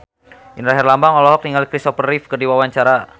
Indra Herlambang olohok ningali Kristopher Reeve keur diwawancara